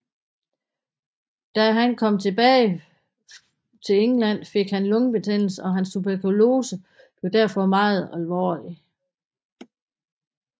Da han kom tilbage til England fik han lungebetændelse og hans tuberkulose blev derfor meget alvorlig